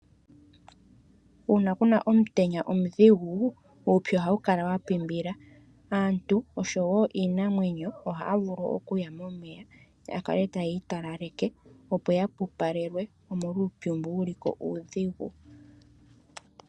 Uuna ku na omutenya omudhigu, uupyu ohawu kala wa pimbila. Aantu oshowo iinamwenyo ohaya vulu oku ya momeya ya kale tayi italaleke, opo ya pupalelwe, omolwa uupyu mbu wu liko uudhigu.